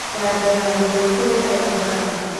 njanjo ya gĩthũkũ ya MR